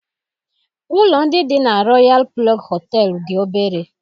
Ụlọ ndị dị na Royalụ Plọg Họtelụ dị obere